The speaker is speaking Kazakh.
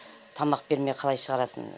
тамақ бермей қалай шығарасын